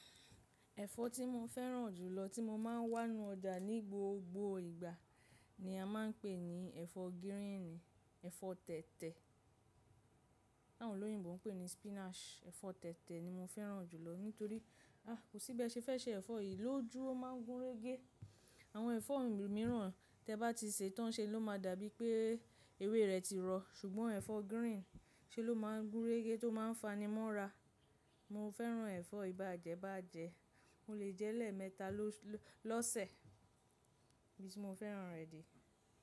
Ẹ̀fọ́ tí mo fẹ́ràn jù lọ tí mo máa ń wá nu ọjà ní gbogbo ìgbà ni a máa ń pè ní ẹ̀fọ́ gíríìnì, ẹ̀fọ́ tẹ̀tẹ̀. Àwọn olóyìnbo ń pè ní spinach. Ẹ̀fọ́ tẹ̀tẹ̀ ni mo fẹ́ràn jù lọ nítorí a, kò sí bẹ́ẹ̀ ṣe fẹ́ se ẹ̀fọ́ yìí ló jú, ó máa ń gún régé. Àwọn ẹ̀fọ́ mìíràn tí ẹ bá ti sè tán ṣe ló máa dà bíi pé ewé rẹ̀ ti rọ, ṣùgbọ́n ẹ̀fọ́ gíríìnì ṣé ló máa ń gún régé tó máa ń fanimọ́ra. Mo fẹ́ràn ẹ̀fọ́ yii bàjẹ́bàjẹ́. Mo lè jẹ́ lẹ́ẹ̀mẹta lọ́sẹ̀ nibí ti mo fẹ́ràn rẹ̀ de.